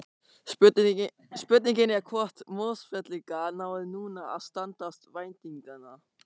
Spurningin er hvort Mosfellingar nái núna að standast væntingarnar?